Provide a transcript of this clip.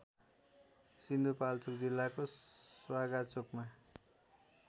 सिन्धुपाल्चोक जिल्लाको स्वागाचोकमा